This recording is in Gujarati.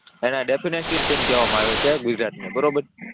અને ડીફેંડિંગ ટીમ કહેવામાં આવે છે આ ગુજરાતને બરાબર,